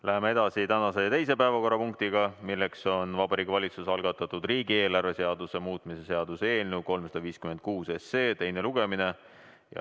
Läheme edasi tänase teise päevakorrapunktiga, milleks on Vabariigi Valitsuse algatatud riigieelarve seaduse muutmise seaduse eelnõu 356 teine lugemine.